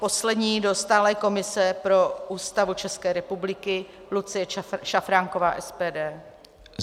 Poslední - do stálé komise pro Ústavu České republiky Lucie Šafránková, SPD.